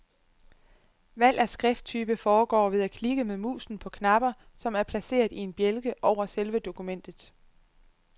Valg af skrifttype foregår ved at klikke med musen på knapper, som er placeret i en bjælke over selve dokumentet.